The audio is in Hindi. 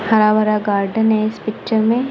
हरा भरा गार्डन हैं इस पिक्चर में--